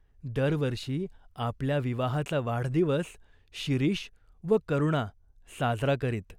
दरवर्षी आपल्या विवाहाचा वाढदिवस शिरीष व करुणा साजरा करीत.